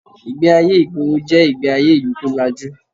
Ìgbé-ayé ìgboro jẹ́ ìgbé-ayé ìlú tó lajú